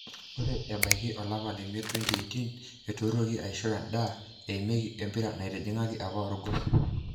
Ore ebaiki olapa lemiet 2018 eteruaki aisho endaa eimieki empira naitijingaki apa orgos.